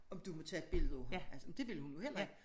Om du må tage et billede af ham altså men det ville hun jo heller ikke